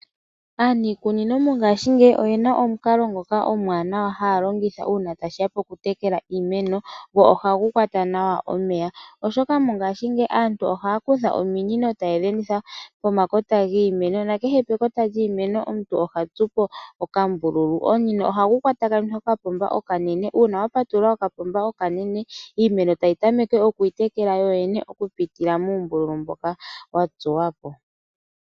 Aanikunino mongashingeyi oyena omukalo ngoka omuwanawa haya longitha uuna tashiya pokutekela iimeno, go ohagu kwata nawa omeya. Oshoka mongashingeyi aantu ohaya kutha ominino taye dhi enditha pomakota giimeno, na kehe pekota lyiimeno omuntu oha tsupo okambululu. Omunino ohagu takamithwa kokapomba okanene. Uuna wa patulula kokapomba okanene, iimeno tayi tameke oku itekela yoyene okupitila muumbulu mboka wa tsuwa po.